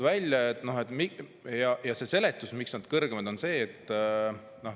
Mis on see seletus, miks nad on kõrgemad?